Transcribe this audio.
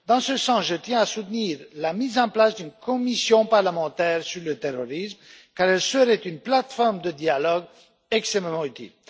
Dans ce sens, je tiens à soutenir la mise en place d'une commission parlementaire sur le terrorisme, car elle serait une plateforme de dialogue extrêmement utile.